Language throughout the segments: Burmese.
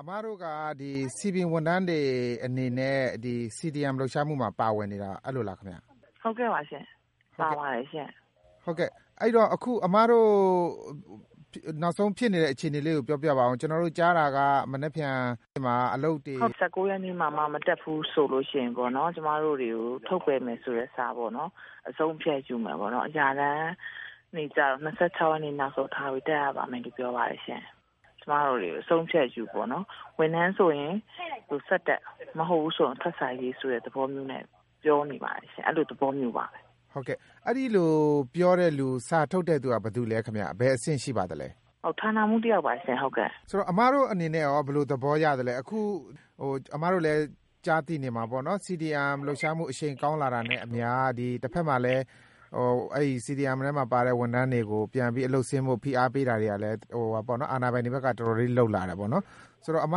အမတို့က စည်ပင်ဝန်ထမ်းတွေအနေနဲ့ CDM လှုပ်ရှားမှုမှာ ပါဝင်နေတာ အဲလိုလားခင်ဗျ။ ဟုတ်ကဲ့ပါရှင့်၊ ပါပါတယ်ရှင့်။ ဟုတ်ကဲ့ အခု အမတို့ နောက်ဆုံးဖြစ်နေတဲ့အခြေအနေလေးကို ပြောပြပါဦး ကျနော်တို့ကြားတာက မနက်ဖြန်မှာ အလုပ်တွေ၊ ဟုတ်ကဲ့ ၁၉ ရက်နေ့မှာမှ မတက်ဘူးဆိုရင် ကျမတို့တွေကို ထုတ်ပယ်မယ်ဆိုတဲ့ စာပေါ့နော် ။ အဆုံးအဖြတ်ယူမယ်ပေါ့နော်။ အရာထမ်းတွေကျတော့ ၂၆ ရက်နေ့ နောက်ဆုံးထားပြီး တက်ရပါမယ်လို့ ပြောပါတယ်ရှင့်။ ကျမတို့တွေကို အဆုံးအဖြတ်ယူမယ်ပေါ့နော်။ ဝန်ထမ်းဆိုရင် ဆက်တက်၊ မဟုတ်ဘူးဆိုရင် စာရေးဆိုတဲ့ သဘောနဲ့ ပြောနေပါတယ်ရှင့်။ အဲလိုသဘောမျိုးပါပဲ။ ဟုတ်ကဲ့ အဲဒီလိုပြောတဲ့သူ စာထုတ်တဲ့လူက ဘယ်သူလဲခင်ဗျ ဘယ်အဆင့်ရှိပါသလဲ။ ဌာနမှူးတယောက်ပါရှင့် ဟုတ်ကဲ့။ ဆိုတော့ အမတို့အနေနဲ့ရော ဘယ်လိုသဘောရသလဲ အခု အမတို့လည်း ကြားသိနေမှာပေါ့နော် CDM လှုပ်ရှားမှု အရှိန်ကောင်းလာတာနဲ့အမျှ တဖက်မှာလည်း အဲဒီ CDM ထဲမှာပါတဲ့ ဝန်ထမ်းတွေကို ပြန်ပြီးအလုပ်ဆင်းဖို့ ဖိအားပေးတာတွေကလည်း အာဏာပိုင်တွေဘက်က တော်တော်လေးလုပ်နေတယ် ဆိုတော့ အမ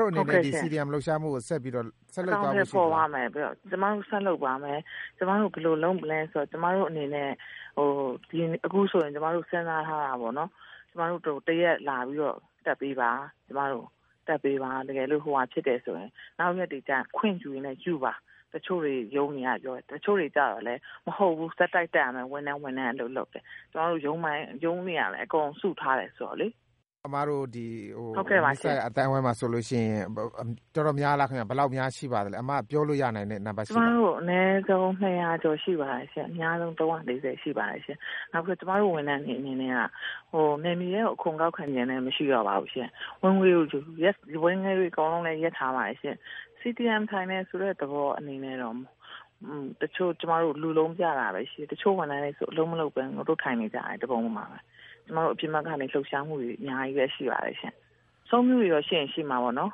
တို့အနေနဲ့ CDM လှုပ်ရှားမှုကို ဆက်ပြီးတော့ လုပ်သွားဖို့ရှိလား။ အကောင်အထည်ဖော်သွားမှာပါ ။ ကျမတို့ ဆက်ပြီးတော့ လုပ်သွားမှာပါ။ ကျမတို့ ဘယ်လိုလုပ်မလဲဆိုတော့ ကျမတို့အနေနဲ့ အခုဆိုရင် စဉ်းစားထားတာပေါ့နော်၊ ကျမတို့ ၁ ရက်လာပြီးတော့ တက်ပေးပါ။ တကယ်လို့ နောက်ရက်တွေကျရင်လည်း ခွင့်ယူရင်လည်းယူပါ။ တချို့ရုံးတွေကပြောတယ်။ တချို့တွေကျတော့လည်း မဟုတ်ဘူး ဆက်တိုက်တက်ရမယ်၊ ဝန်ထမ်းအလုပ် လုပ်တဲ့ ။ ကျမတို့ ရုံးတွေကလည်း အကုန်စုထားတယ်ဆိုတော့လေ။ အမတို့ နီးစပ်ရာ အသိုင်းအဝိုင်းမှာဆိုရင် တော်တေ်ာများလားခင်ဗျ ဘယ်လောက်များရှိပါသလဲ အမ ပြောလို့ရနိုင်တဲ့ နံပတ်ရှိသလား။ ကျမတို့ အနည်းဆုံး ၂၀၀ ကျော်ရှိပါတယ်ရှင့်၊ အများဆုံး ၃၄၀ ရှိပါတယ်။ ကျမတို့ဝန်ထမ်းတွေအနေနဲ့က နယ်မြေထဲကို အခွန်ကောက်ခံခြင်းလည်း မရှိတော့ပါဘူးရှင့်။ ဝင်ငွေတွေအကုန်လုံးလည်း ရပ်ထားပါတယ်။ CDM လုပ်တယ်ဆိုတဲ့ သဘောအနေနဲ့ တချို့ကျမတို့ လူပြတာပဲရှိတယ်။ တချို့ဝန်ထမ်းတွေဆိုရင် အလုပ်မလုပ်ပဲ ထိုင်နေကြတယ်၊ ထိုင်ခုံပေါ်မှာပဲ။ ကျမတို့တွေ အပြင်ဘက်ကနေ လှုပ်ရှားမှုတွေ အများကြီးရှိပါတယ်ရှင့်။ ချွန်တာတွေရော ရှိရင် ရှိမှာပေါ့နော်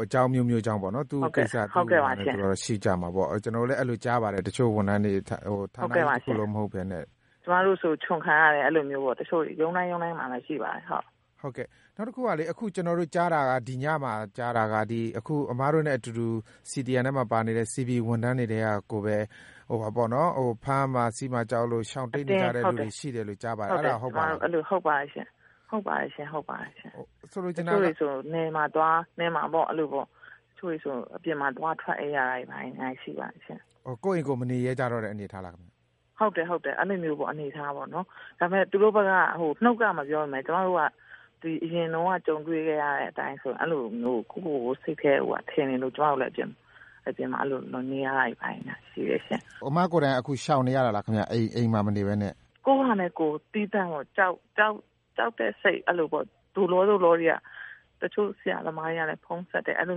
အကြောင်းအမျိုးမျိုးကြောင့် ရှိကြမှာပေါ့နော် ကျနော်တို့လည်း အဲလိုကြားပါတယ် တချို့ဝန်ထမ်းတွေ ဌာနကြီးတခုလုံးမဟုတ်ပဲနဲ့။ ကျမတို့ဆို ချွန်ခံရတယ် တချို့တွေ။ ရုံးတိုင်း ရုံးတိုင်မှာတော့ ရှိပါတယ်ရှင့်၊ ဟုတ်ကဲ့။ နောက်တခုကလေ အခု ကျနော်တို့ ကြားတာက ဒီညမှာ အမတို့နဲ့အတူတူ CDM ထဲမှာ ပါနေတဲ့ စည်ပင်ဝန်ထမ်းတွေထဲကကိုပဲ ဖမ်းမှာဆီးမှာကြောက်လို့ ရှောင်တိမ်း နေတဲ့သူတွေရှိတယ်လို့ ကြားပါတယ်။ အဲဒါ ဟုတ်ပါသလား။ ဟုတ်ပါတယ်ရှင့် ၊ တချို့တွေဆိုရင် နယ်မှာသွား၊ တချို့ဆိုရင် အပြင်မှာသွား ထွက်အိပ်ရတာတွေရှိပါတယ်ရှင့်။ ကိုယ့်အိမ်ကိုယ် မနေရဲကြတော့တဲ့ အနေအထားလားခင်ဗျ။ ဟုတ်တယ် အဲလို အနေအထားပေါ့နော်။ ဒါပေမယ့် သူတို့ဘက်က နှုတ်က မပြောပေမယ့် ကျမတို့က အရင်တုန်းက ကြုံတွေ့ခဲ့ရတဲ့ အတိုင်းဆိုရင် အဲလိုမျိုး စိတ်ထဲမှာထင်နေလို့ ကျမတို့ အပြင်မှာနေရတာတွေ ရှိတယ်ရှင့်။ အမကိုယ်တိုင်က ရှောင်နေရတာလားခင်ဗျ အိမ်မှာမနေပဲနဲ့။ ကိုယ့်ဟာနဲ့ကိုယ် ကြောက်လို့ သိတဲ့စိတ်နဲ့ ၊ အဲလိုပေ့ါ သို့လော သို့လောတွေက ။ တချို့ဆရာသမားတွေက ဖုန်းဆက်တယ်။ အဲလို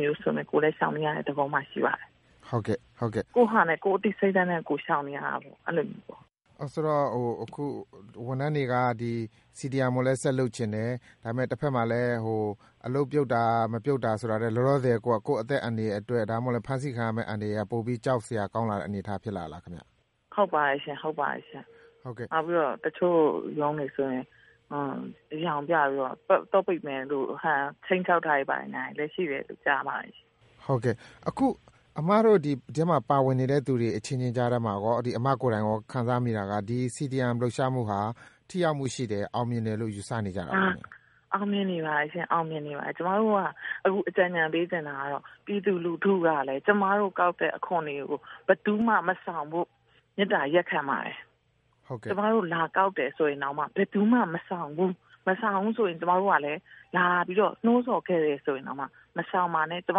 မျိုး ဆိုတော့ ကိုယ်လည်း ရှောင်နေရတဲ့ သဘောမှာရှိပါတယ်။ ကိုယ့်အသိစိတ်ဓါတ်နဲ့ ရှောင်နေရတာပေါ့ အဲလိုမျိုး ။ ဆိုတော့ ဝန်ထမ်းတွေက အခု CDM ကိုလည်း ဆက်လုပ်ချင်တယ် ဒါပေမယ့် တဖက်မှာလည်း အလုပ်ပြုတ်တာနဲ့ မပြုတ်တာဆိုတာထက် လောလောဆည်က ကိုယ့်အသက်အန္တရာယ်အတွက် ဒါမှမဟုတ်လည်း ဖမ်းဆီးခံရမယ့် အန္တရာယ်က ပိုကြောက်စရာကောင်းလာတဲ့ အနေအထားဖြစ်လာတာလားခင်ဗျ။ ဟုတ်ပါတယ်ရှင့်။ နောက်ပြီးတော့ တချို့ရုံးတွေဆိုရင် သော့ပိတ်မယ်တို့ ခြိမ်းခြောက်တာတွေလည်း ရှိတယ်လို့ ကြားပါတယ်ရှင့်။ အခု အမတို့ ဒီအထဲမှာ ပါဝင်နေတဲ့သူတွေ အချင်းချင်းကြားထဲမှာရော အမကိုယ်တိုင် ခံစားမိတာကရောပေါ့၊ ဒီ CDM လှုပ်ရှားမှုဟာ ထိရောက်မှုရှိတယ်၊ အောင်မြင်တယ်လို့ ယူဆကြပါသလား။ အောင်မြင်နေပါတယ်ရှင့်။ ကျမတို့က အခုအကြံပေးချင်တာကတော့ ပြည်သူလူထုကလည်း ကျမတို့ ကောက်တဲ့အခွန်တွေကို ဘယ်သူမှ မဆောင်ဖို့ မေတ္တာရပ်ခံပါတယ်။ ကျမတို့ လာကောက်တယ်ဆိုရင်တောင်မှ ဘယ်သူမှမဆောင်ဘူး ။ မဆောင်ဘူးဆိုရင်လည်း ကျမတို့က လာပြီးတော့ နှိုးဆော်ခဲ့တယ် ဆိုရင်တောင် မဆောင်ပါနဲ့ ။ ကျမ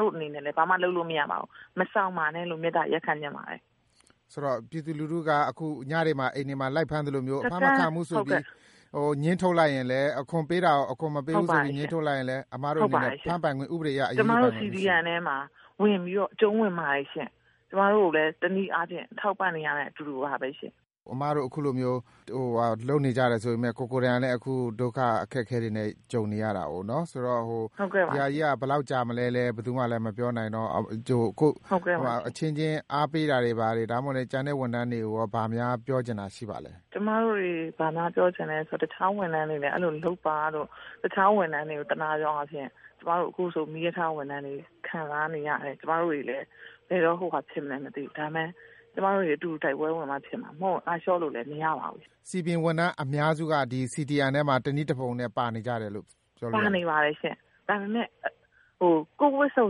တို့ အနေနဲ့လည်း ဘာမှ လုပ်လို့ရမှာမဟုတ်ပါဘူး။ မဆောင်ပါနဲ့ လို့ မေတ္တာရပ်ခံပါတယ်။ ဆိုတော့ ပြည်သူလူထုက ညတွေမှာ အိမ်တွေမှာ လိုက်ဖမ်းသလိုမျိုး အဖမ်းမခံဘူးဆိုပြီး ငြင်းထုတ်လိုက်သလိုမျိုး အခွန်ပေးရမှာကို အခွန်မပေးဘူးဆိုပြီး ငြင်းထုတ်လိုက်ရင်လည်း အမတို့ အနေနဲ့လည်း ဥပဒေအရ အရေးယူပိုင်ခွင့်မရှိဘူး၊ အဲဒီလိုလားခင်ဗျ။ ကျမတို့ CDM ထဲမှာလည်း အကြုံးဝင်ပါတယ်။ ကျမတို့ကိုလည်း တနည်းအားဖြင့် ထောက်ပံ့တဲ့ အတူတူပါပဲရှင့်။ အမတို့ အခုလို လုပ်နေကြတယ်ဆိုပေမယ့် ကိုယ်တိုင်လည်း ဒုက္ခအခက်အခဲတွေနဲ့ ကြုံနေရတာဆိုတော့နော် ဒါကလည်း ဘယ်လောက်ကြာမလဲဆိုတာ ဘယ်သူမှလည်း မပြောနိုင်တော့ အချင်းချင်း အားပေးတာတို့၊ ဒါမှမဟုတ်ရင်လည်း ကျန်တဲ့ ဝန်ထမ်းတွေကို ဘာများပြောချင်တာရှိပါသလဲ။ ကျမတို့ ဘာများပြောချင်သလဲဆိုတော့ တခြားဝန်ထမ်းတွေလည်း အဲလိုမျိုး လုပ်ပါလို့ တခြားဝန်ထမ်းတွေကိုသနားသောအားဖြင့် ကျမတို့ အခုဆို မီးရထားဝန်ထမ်းတွေ ခံစားနေရတယ် ။ ကျမတို့တွေလည်း ဘယ်တော့ ဖြစ်မလဲမသိဘူး ဒါတွေ အားလုံး ကျမတို့အတူတူ တိုက်ပွဲဝင်မှ ဖြစ်မှာ ။ အားလျှော့လို့လည်း မရပါဘူးရှင့်။ စည်ပင်ဝန်ထမ်းအများစုက ဒီ CDM ထဲမှာ တနည်းတဖုံနဲ့ ပါနေကြတယ်လို့ ပြောလို့ရလား။ ပါနေပါတယ်ရှင့်။ ဒါပေမယ့် ကိုယ့်ဝတ်ဝုံ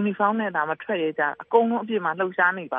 Uniform နဲ့ မထွက်ရဲကြတာ အကုန်လုံးအပြင်မှာ လှုပ်ရှားနေပါ